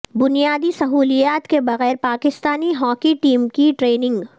بنیادی سہولیات کے بغیر پاکستانی ہاکی ٹیم کی ٹریننگ